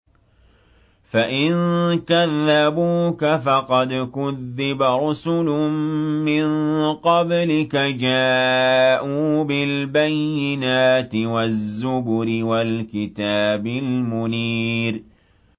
فَإِن كَذَّبُوكَ فَقَدْ كُذِّبَ رُسُلٌ مِّن قَبْلِكَ جَاءُوا بِالْبَيِّنَاتِ وَالزُّبُرِ وَالْكِتَابِ الْمُنِيرِ